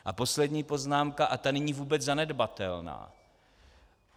A poslední poznámka - a ta není vůbec zanedbatelná.